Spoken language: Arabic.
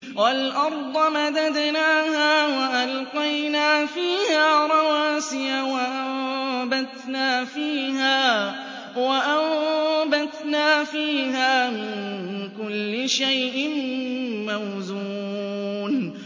وَالْأَرْضَ مَدَدْنَاهَا وَأَلْقَيْنَا فِيهَا رَوَاسِيَ وَأَنبَتْنَا فِيهَا مِن كُلِّ شَيْءٍ مَّوْزُونٍ